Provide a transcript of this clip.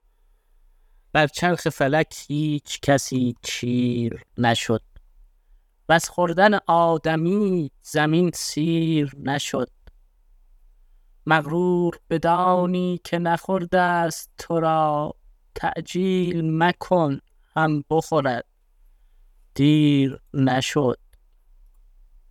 بر چرخ فلک هیچ کسی چیر نشد وز خوردن آدمی زمین سیر نشد مغرور بدانی که نخورده ست تو را تعجیل مکن هم بخورد دیر نشد